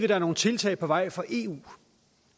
er nogle tiltag på vej fra eu